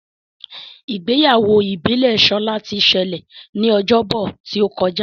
Ìgbéyàwó ìbílè Shola tí ṣẹlẹ ní Ọjọ́ Bọ̀ tíó kọjá.